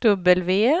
W